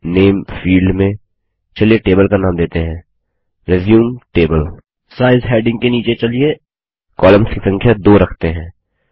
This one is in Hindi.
नामे फील्ड में चलिए टेबल का नाम देते है रिज्यूम टेबल साइज हैडिंग के नीचे चलिए कोलम्न्स की संख्या 2 रखते हैं